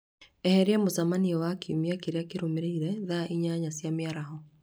eheria mũcemanio wakKiumia kĩrĩa kĩrũmĩrĩire, thaa inyanya cia mĩaraho